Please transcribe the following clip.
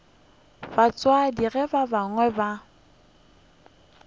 batswadi ba gagwe ge ba